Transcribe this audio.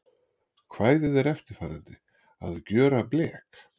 Kvæðið er eftirfarandi: Að gjöra blek